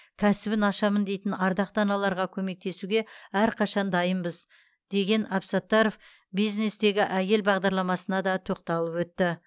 кәсібін ашамын дейтін ардақты аналарға көмектесуге әрқашан дайынбыз деген абсаттаров бизнестегі әйел бағдарламасына да тоқталып өтті